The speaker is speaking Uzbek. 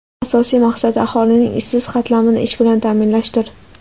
Asosiy maqsadi aholining ishsiz qatlamini ish bilan ta’minlashdir.